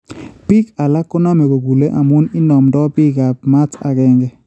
Biik alak koname kokuule amuun inaamdo biikab maat akeenke